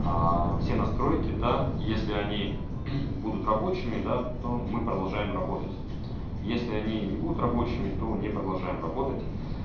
аа все настройки да если они будут рабочими да то мы продолжаем работать если они не будут рабочими то не продолжаем работать